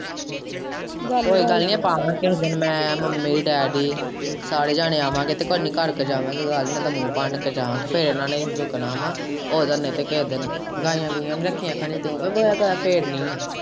ਕੋਈ ਗੱਲ ਨੀ ਆਪਾਂ ਆਵਾਂਗੇ ਕਿਸੇ ਦਿਨ ਮੈਂ ਮੰਮੀ-ਡੈਡੀ ਸਾਰੇ ਜਾਣੇ ਆਵਾਂਗੇ ਤੇ ਕੋਈ ਨੀ ਕਰ ਕੇ ਜਾਵਾਗੇ ਗੱਲ ਨਹੀਂ ਤੇ ਮੂੰਹ ਭੰਨ ਕੇ ਜਾਵਾਗੇ ਫੇਰ ਇਹਨਾਂ ਨੇ ਰੁਕਣਾ ਵਾਂ ਉੱਦੋ ਨਹੀਂ ਤੇ ਕੇਹੇ ਦਿਨ ਗਾਈਆਂ-ਗੂਈਆਂ ਵੀ ਰੱਖਿਆ ਖਾਨੀ ਤੂੰ ਕੀ ਗੋਹਾ-ਗਾਹਾ ਫੇਰਨੀ ਏ।